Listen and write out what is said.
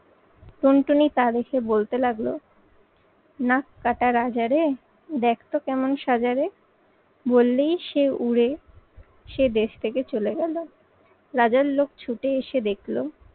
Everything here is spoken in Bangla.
টুনটুনি তা দেখে বলতে লাগলো নাক কাটা রাজা রে, দেখতো কেমন সাজা রে। বললেই সে উড়ে সে দেশ থেকে চলে গেলো। রাজার লোক ছুটে এসে দেখলো